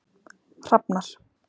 Hrafnar